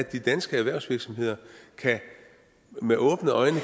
kan danske erhvervsvirksomheder med åbne øjne